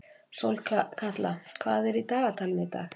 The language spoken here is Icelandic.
Sólkatla, hvað er í dagatalinu í dag?